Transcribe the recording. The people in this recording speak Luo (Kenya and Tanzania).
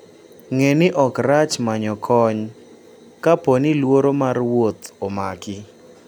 Ng'e ni ok rach manyo kony kapo ni luoro mar wuoth omaki.